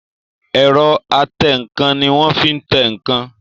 Ẹ̀rọ atẹǹkan ní wọ́n fí tẹ ǹkan